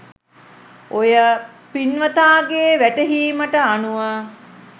ඔය පින්වතාගේ වැටහීමට අනුව